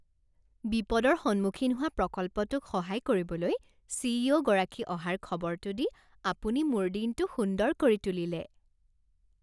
বিপদৰ সন্মুখীন হোৱা প্ৰকল্পটোক সহায় কৰিবলৈ চি.ই.অ'. গৰাকী অহাৰ খবৰটো দি আপুনি মোৰ দিনটো সুন্দৰ কৰি তুলিলে!